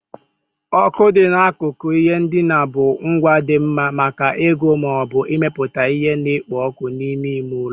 Oku dị n'akụkụ ihe ndina bụ ngwa dị mma maka ịgụ ma ọ bụ ịmepụta ihe na-ekpo ọkụ n'ime ime ụlọ.